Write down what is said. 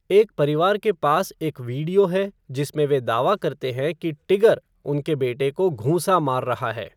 एक परिवार के पास एक वीडियो है जिसमें वे दावा करते हैं कि "टिगर" उनके बेटे को घूंसा मार रहा है।